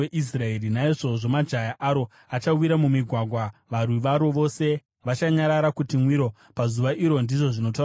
Naizvozvo majaya aro achawira mumigwagwa; varwi varo vose vachanyarara kuti mwiro pazuva iro,” ndizvo zvinotaura Jehovha.